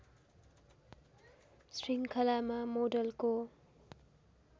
श्रृङ्खलामा मोडलको